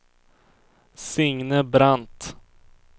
Signe Brandt